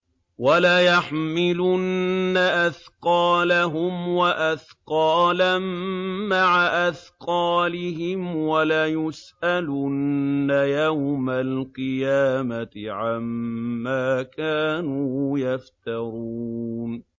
وَلَيَحْمِلُنَّ أَثْقَالَهُمْ وَأَثْقَالًا مَّعَ أَثْقَالِهِمْ ۖ وَلَيُسْأَلُنَّ يَوْمَ الْقِيَامَةِ عَمَّا كَانُوا يَفْتَرُونَ